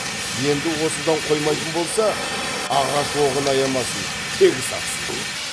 енді осыдан қоймайтын болса ағаш оғын аямасын тегіс атсын